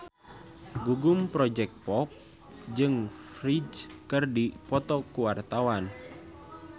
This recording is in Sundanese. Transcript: Gugum Project Pop jeung Ferdge keur dipoto ku wartawan